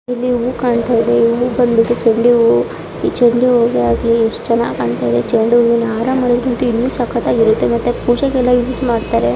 ಇಲ್ಲಿ ಹೂ ಕಾಣತಾ ಇದೆ ಈ ಹೂ ಬಂದ್ಬಿಟ್ಟು ಚೆಂಡು ಹೂ ಈ ಚೆಂಡು ಹೂ ಗ್ಯಾಗ್ಲಿ ಎಷ್ಟು ಚೆನ್ನಾಗ್ ಕಾಣತಾ ಇದೆ ಚೆಂಡು ಹೂವಿನ ಹಾರ ಮಾಡಿದ್ರಂತು ಇನ್ನು ಸಕ್ಕತಾಗಿರತ್ತೆ ಮತ್ತೆ ಪೂಜೆಗೆಲ್ಲ ಯೂಸ್ ಮಾಡತಾರೆ .